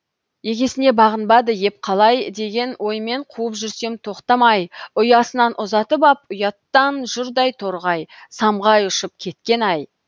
егесіне бағынбады еп қалай деген оймен қуып жүрсем тоқтамай ұясынан ұзатып ап ұяттан жұрдай торғай самғай ұшып кеткені ай